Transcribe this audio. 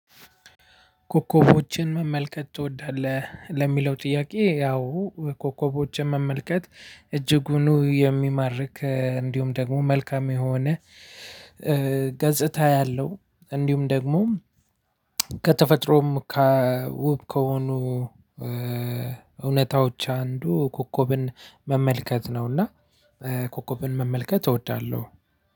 ኮከቦችን መመልከት ትወዳለህ ለሚለው ጥያቄ? ያው ኮከቦችን መመልከት እጅጉኑ የሚማርክ እንዲሁም ደግሞ መልካም የሆነ ገጽታ ያለው እንዲሁም ደግሞ ከተፈጥሮም ከውብ ከሆኑ እውነታዎች አንዱ ኮከብን መመልከት ነውና። ኮከብን መመልከት እወዳለሁ።